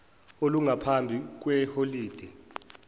olungaphambi kwe holide